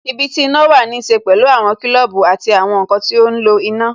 Ibi tí iná wà ní ṣe pẹ̀lú àwọn kilobu àti àwọn nkan ti ó ń lo iná